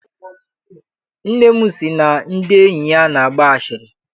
Nne m sị na ndị enyi ya na-agba asịrị.